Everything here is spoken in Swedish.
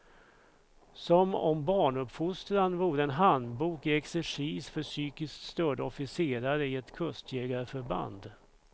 Som om barnuppfostran vore en handbok i exercis för psykiskt störda officerare i ett kustjägarförband.